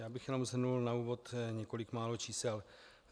Já bych jenom shrnul na úvod několik málo čísel.